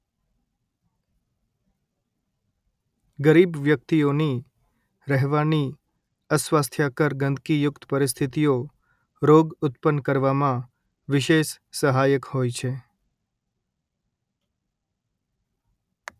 ગરીબ વ્યક્તિઓ ની રહેવાની અસ્વાસ્થ્યકર ગંદગીયુક્ત પરિસ્થિતિઓ રોગ ઉત્પન્ન કરવામાં વિશેષ સહાયક હોય છે